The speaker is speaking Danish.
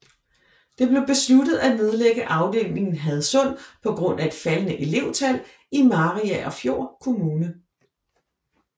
Det blev besluttet at nedlægge afdelingen i Hadsund på grund af et faldene elevtal i Mariagerfjord Kommune